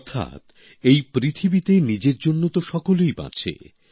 অর্থাৎ এই পৃথিবীতে নিজের জন্য তো সকলেই বাঁচে